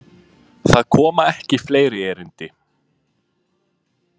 Það koma ekki fleiri erindi.